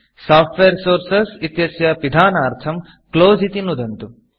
software Sourcesसोफ़्ट्वेर् sources इत्यस्य पिधानार्थं Closeक्लोस् इति नुदन्तु